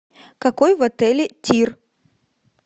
какой в отеле тир